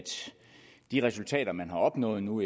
de resultater man har opnået nu